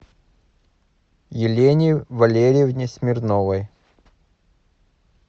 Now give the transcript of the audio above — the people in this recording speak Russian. елене валерьевне смирновой